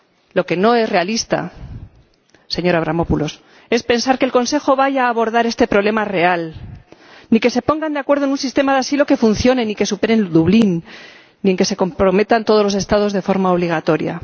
Lo que no es realista, señor Avramopoulos, es pensar que el Consejo vaya a abordar este problema real, ni que se pongan de acuerdo en un sistema de asilo que funcione y que supere Dublín, ni en que se comprometan todos los Estados de forma obligatoria.